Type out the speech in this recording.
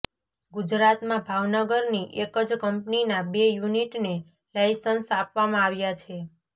ગુજરાતમાં ભાવનગરની એક જ કંપનીના બે યુનિટને લાઈસન્સ આપવામાં આવ્યા છે